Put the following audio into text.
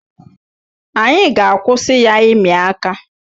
Anyị ga-akwụsị ya ịmị aka.